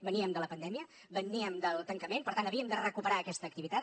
veníem de la pandèmia veníem del tancament per tant havíem de recuperar aquesta activitat